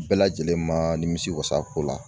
Bɛɛ lajɛlen ma nimisiwasa a ko la